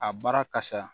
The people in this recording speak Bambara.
A baara ka sa